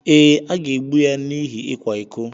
Ee, a ga-egbu ya n’ihi ịkwa iko.